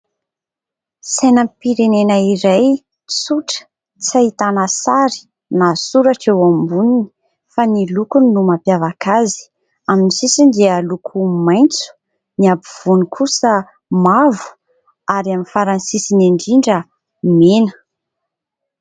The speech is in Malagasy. Sainam-pirenena iray, tsotra, tsy ahitana sary na soratra eo amboniny, fa ny lokony no mampiavaka azy. Amin'ny sisiny dia loko maitso, ny afovoany kosa mavo, ary amin'ny farany sisiny indrindra mena.